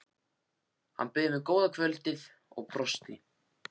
Hann bauð mér góða kvöldið og brosti.